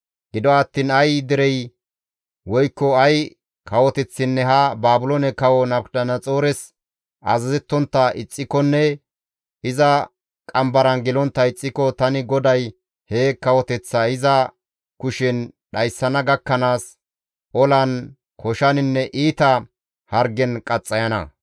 «Gido attiin ay derey woykko ay kawoteththinne ha Baabiloone Kawo Nabukadanaxoores azazettontta ixxikonne iza qambaran gelontta ixxiko, tani GODAY he kawoteththa iza kushen dhayssana gakkanaas, olan, koshaninne iita hargen qaxxayana.